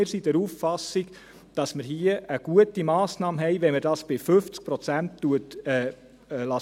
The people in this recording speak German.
Wir sind der Auffassung, dass wir hier eine gute Massnahme haben, wenn man es bei 50 Prozent belässt.